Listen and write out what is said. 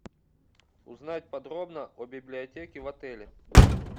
узнать подробно о библиотеке в отеле